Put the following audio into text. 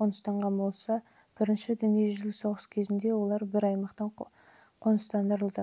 қоныстанған болса бірінші дүниежүзілік соғыс кезінде